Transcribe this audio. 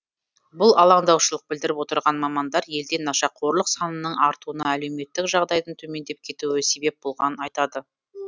бұл алаңдаушылық білдіріп отырған мамандар елде нашақорлық санының артуына әлеуметтік жағдайдың төмендеп кетуі себеп болғанын айтады